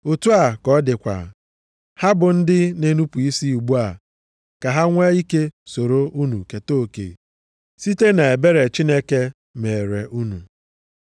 Otu a ka ọ dịkwa, ha bụ ndị na-enupu isi ugbu a ka ha nwe ike soro unu keta oke site nʼebere Chineke meere unu.